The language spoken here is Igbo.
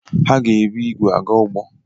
Ha ga-ebu igwe aga ugbo